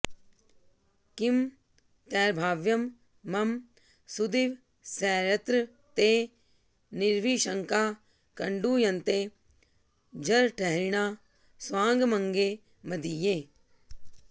किं तैर्भाव्यं मम सुदिवसैर्यत्र ते निर्विशङ्काः कण्डूयन्ते जरठहरिणाः स्वाङ्गमङ्गे मदीये